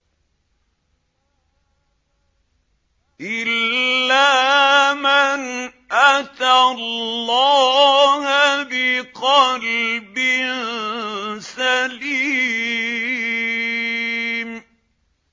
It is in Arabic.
إِلَّا مَنْ أَتَى اللَّهَ بِقَلْبٍ سَلِيمٍ